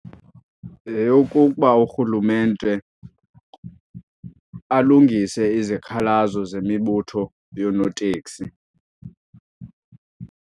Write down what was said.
Yeyokuba urhulumente alungise izikhalazo zemibutho yoonotekisi.